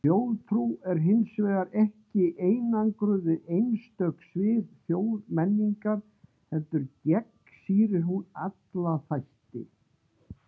Þjóðtrú er hins vegar ekki einangruð við einstök svið þjóðmenningar, heldur gegnsýrir hún alla þætti.